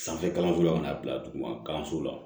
Sanfɛ kalanso la ka n'a bila duguma kalanso la